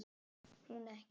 Hún ekki.